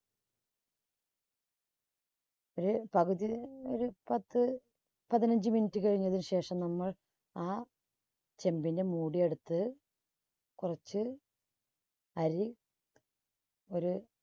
ഒരു പകുതി ഒരു~ഒരു പത്തു പതിനഞ്ച് minute കഴിഞ്ഞതിന് ശേഷം നമ്മൾ ആ ചെമ്പിന്റെ മൂടി എടുത്ത് കുറച്ച് അരി ഒരു